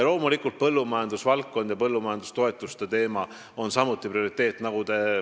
Loomulikult on põllumajandusvaldkond ja põllumajandustoetuste teema samuti prioriteet.